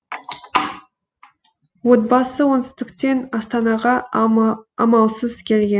отбасы оңтүстіктен астанаға амалсыз келген